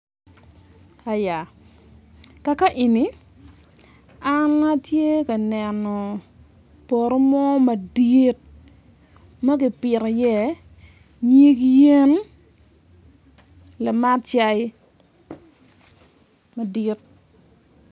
Aya kaka eni an atye ka neno poto mo madit ma gipito iye nyig yen lamat cai madit.